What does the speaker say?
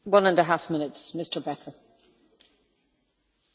Frau Präsidentin, Herr Kommissar, werte Kolleginnen und Kollegen!